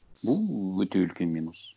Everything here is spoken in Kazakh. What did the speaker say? бұл өте үлкен минус